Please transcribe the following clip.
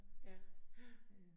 Ja ja